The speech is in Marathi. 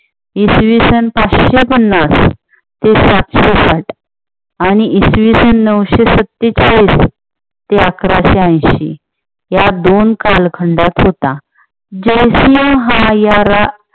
इसवी सन पाचशे पन्नास ते सातशे साठ आणि इसवी सन नऊशे सत्तेचाळीस ते अकराशे ऐंशी या दोन कालखंडात होता. जय सिंह हा या